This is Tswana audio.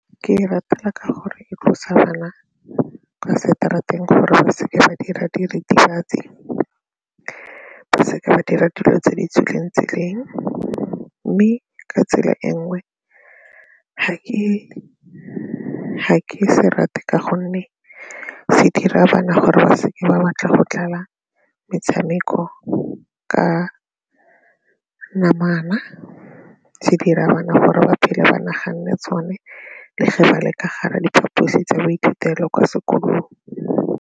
Ke e ratela ka gore e tlosa bana kwa seterateng gore ba seke ba dira diritibatsi, ba seke ba dira dilo tse di tswileng tseleng mme ka tsela e nngwe ga ke se rate ka gonne se dira bana gore ba seke ba batla go dlala metshameko ka namana se dira bana gore ba phele ba naganne tsone le ge ba le ka gare ga diphaposi tsa boithutelo kwa sekolong.